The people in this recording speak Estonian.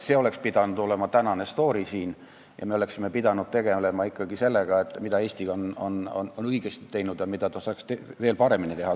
See oleks pidanud olema tänane stoori siin ja me oleksime pidanud tegelema ikkagi sellega, mida Eesti on õigesti teinud ja mida ta saaks veel paremini teha.